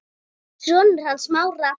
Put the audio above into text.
Sonur hans Smára.